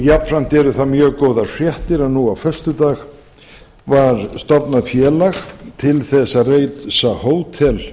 jafnframt eru það mjög góðar fréttir að nú á föstudag var stofnað félag til þess að reisa hótel